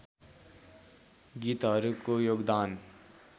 गीतहरूको योगदान